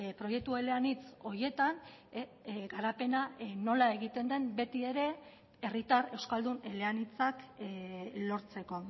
proiektu eleanitz horietan garapena nola egiten den betiere herritar euskaldun eleanitzak lortzeko